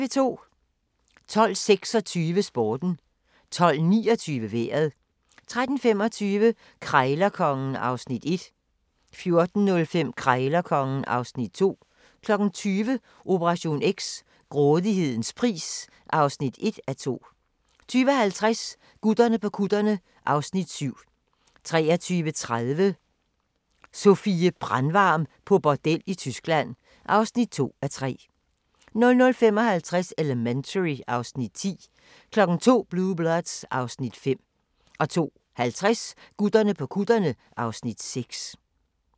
12:26: Sporten 12:29: Vejret 13:25: Krejlerkongen (Afs. 1) 14:05: Krejlerkongen (Afs. 2) 20:00: Operation X: Grådighedens pris (1:2) 20:50: Gutterne på kutterne (Afs. 7) 23:30: Sofie Brandvarm på bordel i Tyskland (2:3) 00:55: Elementary (Afs. 10) 02:00: Blue Bloods (Afs. 5) 02:50: Gutterne på kutterne (Afs. 6)